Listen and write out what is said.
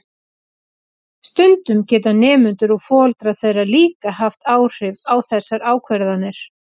Stundum geta nemendur og foreldrar þeirra líka haft áhrif á þessar ákvarðanir.